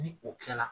Ni o kɛla